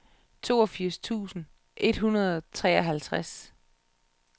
toogfirs tusind et hundrede og treoghalvtreds